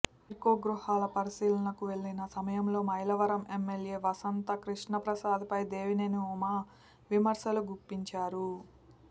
టిడ్కో గృహాల పరిశీలనకు వెళ్లిన సమయంలో మైలవరం ఎమ్మెల్యే వసంత కృష్ణప్రసాద్ పై దేవినేని ఉమ విమర్శలు గుప్పించారు